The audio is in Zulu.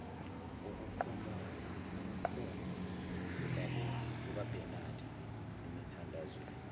ukuquma kukabenade emithandazweni